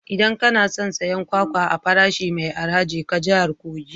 Idan kana son siyan kwakwa a farashi mai arha, je ka haye jihar kogi